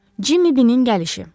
Cimmi Binin gəlişi.